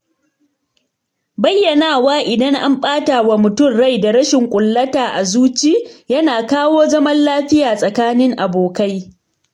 Bayyanawa idan an ɓata wa mutum rai da rashin ƙullata a zuci yana kawo zama lafiya tsakanin abokai